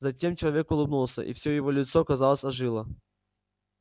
затем человек улыбнулся и всё его лицо казалось ожило